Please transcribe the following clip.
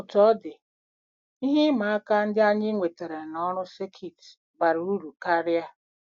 Otú ọ dị, ihe ịma aka ndị anyị nwetara n'ọrụ sekit bara uru karịa.